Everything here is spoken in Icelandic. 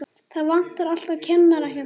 Það vantar alltaf kennara hérna.